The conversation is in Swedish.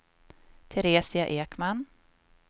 Teresia Ekman